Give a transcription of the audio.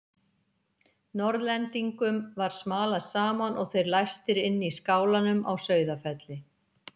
Norðlendingum var smalað saman og þeir læstir inn í skálanum á Sauðafelli.